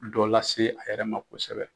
Dɔ lase a yɛrɛ ma kosɛbɛ.